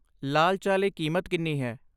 ਲਾਲ ਚਾਹ ਲਈ ਕੀਮਤ ਕਿੰਨੀ ਹੈ?